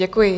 Děkuji.